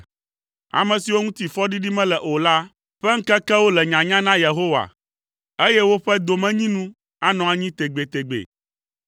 Ame siwo ŋuti fɔɖiɖi mele o la ƒe ŋkekewo le nyanya na Yehowa, eye woƒe domenyinu anɔ anyi tegbetegbe.